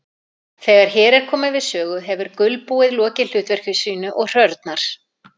Þegar hér er komið sögu hefur gulbúið lokið hlutverki sínu og hrörnar.